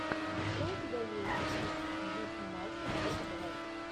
что у тебя есть из где снимался джек блэк